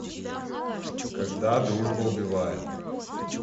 когда дружба убивает